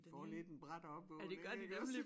Får lidt en brat opvågning ikke også?